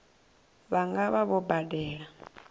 vha nga vha vho badela